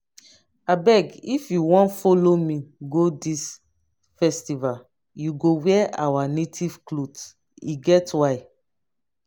abeg if you wan follow me go dis festival you go wear our native cloth e get why